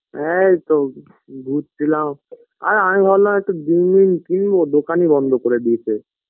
এইতো ঘুরছিলাম আর আমি ভাবলাম একটু ডিম মিম কিনবো দোকানই বন্ধ করে দিয়েছে